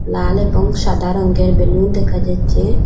লাল এবং সাদা রঙ্গের বেলুন দেখা যাচ্ছে।